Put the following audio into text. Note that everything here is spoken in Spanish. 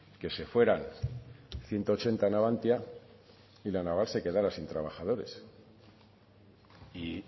que se fueran ciento ochenta a navantia y la naval se quedara sin trabajadores y